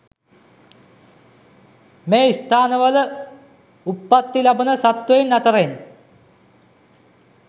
මේ ස්ථානවල උප්පත්ති ලබන සත්වයින් අතරෙන්